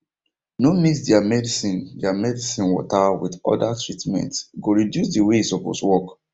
no mix their medicine their medicine water with orda treatmente go reduce the way e suppose work